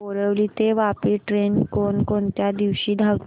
बोरिवली ते वापी ट्रेन कोण कोणत्या दिवशी धावते